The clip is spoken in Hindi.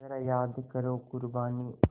ज़रा याद करो क़ुरबानी